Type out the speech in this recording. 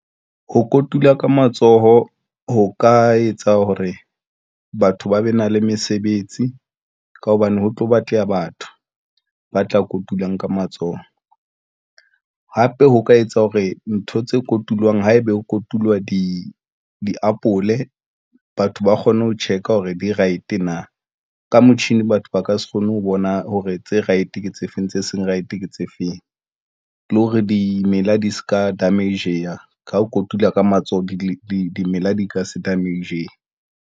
Ho kotula ka matsoho ho ka etsa hore batho ba be na le mesebetsi, ka hobane ho tlo batleha batho ba tla kotulang ka matsoho. Hape ho ka etsa hore ntho tse kotulwang haebe ho kotulwa diapole. Batho ba kgone ho check-a hore di-right na. Ka motjhini, batho ba ka se kgone ho bona hore tse right ke tse feng tse seng right, ke tse feng le hore dimela di se ka damage-a ka ho kotula ka matsoho di dimela di ka se damage-he.